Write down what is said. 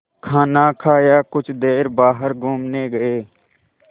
खाना खाया कुछ देर बाहर घूमने गए